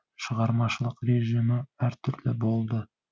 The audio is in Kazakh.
шығармашылық режимі әр түрлі болды